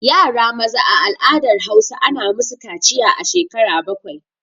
Yara maza a al'adar Hausa ana musu kaciya a shekara bakwai